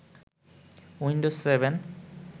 Windows seven